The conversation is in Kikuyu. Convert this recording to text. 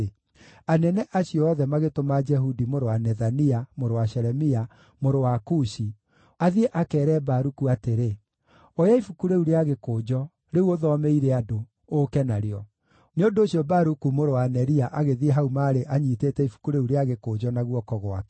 anene acio othe magĩtũma Jehudi mũrũ wa Nethania, mũrũ wa Shelemia, mũrũ wa Kushi, athiĩ akeere Baruku atĩrĩ, “Oya ibuku rĩu rĩa gĩkũnjo, rĩu ũthomeire andũ, ũũke narĩo.” Nĩ ũndũ ũcio Baruku mũrũ wa Neria agĩthiĩ hau maarĩ anyiitĩte ibuku rĩu rĩa gĩkũnjo na guoko gwake.